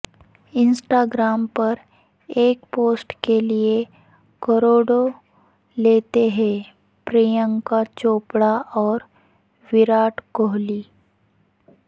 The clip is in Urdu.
انسٹاگرام پر ایک پوسٹ کے لئے کروڑوں لیتے ہیں پرینکا چوپڑا اور وراٹ کوہلی